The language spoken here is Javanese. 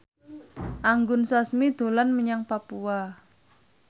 Anggun Sasmi dolan menyang Papua